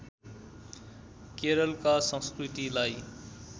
केरलका संस्कृतिलाई